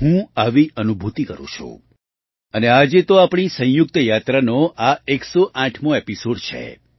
હું આવી અનુભૂતિ કરું છુ અને આજે તો આપણી સંયુક્ત યાત્રાનો આ 108મો એપિસૉડ છે